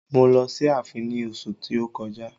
Mo lọ sí ààfin ní oṣu tí ó kọjá.